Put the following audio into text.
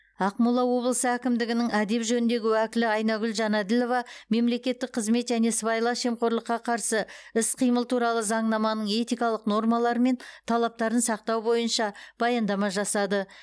ақмола облысы әкімдігінің әдеп жөніндегі уәкілі айнагүл жанәділова мемлекеттік қызмет және сыбайлас жемқорлыққа қарсы іс қимыл туралы заңнаманың этикалық нормалары мен талаптарын сақтау бойынша баяндама жасады